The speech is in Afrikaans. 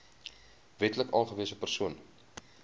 wetlik aangewese persoon